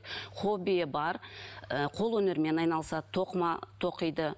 хоббиі бар ы қол өнерімен айналысады тоқыма тоқиды